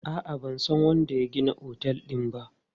A'a, ban san wanda ya gina otel din ba.